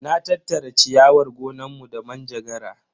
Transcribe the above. Na tattara ciyawar gonanmu da manjagara.